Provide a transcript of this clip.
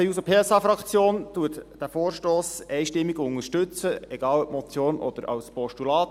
Die SP-JUSO-PSA-Fraktion unterstützt den Vorstoss einstimmig, egal ob als Motion oder als Postulat.